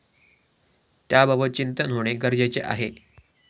त्याबाबत चिंतन होणे गरजेचे आहे.